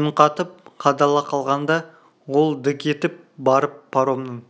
үн қатып қадала қалғанда ол дік етіп барып паромның